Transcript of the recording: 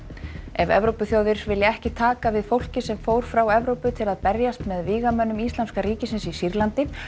ef Evrópuþjóðir vilja ekki taka við fólki sem fór frá Evrópu til að berjast með vígamönnum Íslamska ríkisins í Sýrlandi